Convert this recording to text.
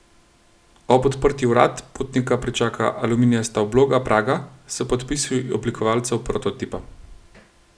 Ob odprtju vrat potnika pričaka aluminijasta obloga praga s podpisi oblikovalcev prototipa.